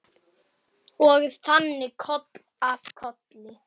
Og þannig koll af kolli.